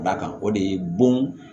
Da kan o de ye bon